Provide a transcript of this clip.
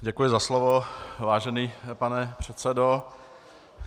Děkuji za slovo, vážený pane předsedo.